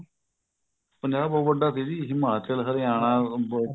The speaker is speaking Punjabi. ਪੰਜਾਬ ਬਹੁਤ ਵੱਡਾ ਸੀ ਜੀ ਹਿਮਾਚਲ ਹਰਿਆਣਾ ਅਹ ਦਿੱਲੀ ਨੂੰ ਜਾ ਕੇ ਲੱਗਦਾ ਸੀਗਾ